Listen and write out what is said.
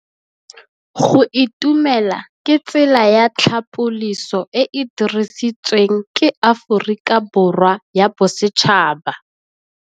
Go itumela ke tsela ya tlhapolisô e e dirisitsweng ke Aforika Borwa ya Bosetšhaba.